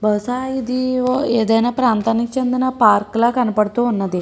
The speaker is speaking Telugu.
బహుశా ఇది ఓ ఏదైనా ప్రాంతానికి చెందిన పార్క్ లా కనపడుతూ ఉన్నది.